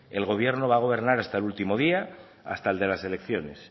el gobierno va a gobernar hasta el último día hasta el de las elecciones